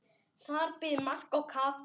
Þar biðu Magga og Kata.